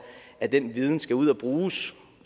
at den viden skal ud at bruges